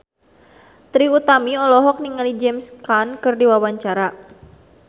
Trie Utami olohok ningali James Caan keur diwawancara